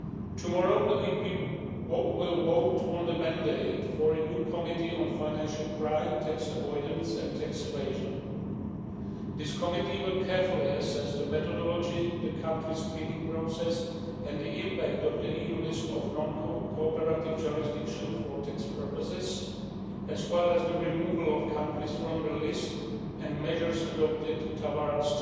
Tomorrow, the EP will vote on the mandate for a new committee on financial crime, tax avoidance and tax evasion. This committee will carefully assess the methodology, the country screening process and the impact of the EU list of non cooperative jurisdictions for tax purposes, as well as the removal of countries from the list and measures adopted towards